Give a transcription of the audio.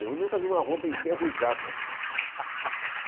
Eu nunca vi uma roupa enferrujada.